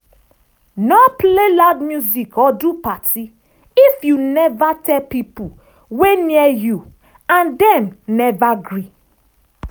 no play loud music or do party if you never tell pipo wey near you and dem never gree.